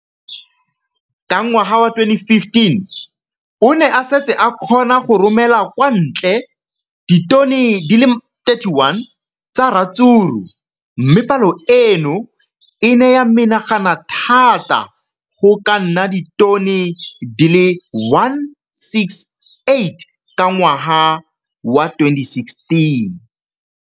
Ka ngwaga wa 2015, o ne a setse a kgona go romela kwa ntle ditone di le 31 tsa ratsuru mme palo eno e ne ya menagana thata go ka nna ditone di le 168 ka ngwaga wa 2016.